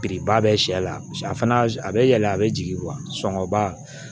Biriba bɛ sɛ la paseke a fana a bɛ yɛlɛ a bɛ jigin sɔngɔ ba